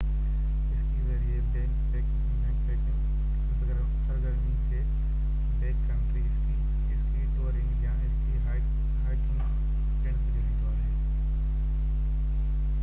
ski ذريعي backpacking هن سرگرمي کي backcountry ski ski touring يا اسڪي هائيڪنگ پڻ سڏيو ويندو آهي